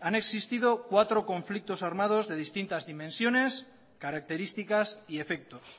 han existido cuatro conflictos armados de distintas dimensiones características y efectos